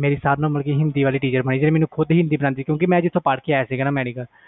ਮੇਰੀ teacher ਸੀ ਹਿੰਦੀ ਵਾਲੀ ਮੈਨੂੰ ਹਿੰਦੀ ਪੜ੍ਹਦੀ ਸੀ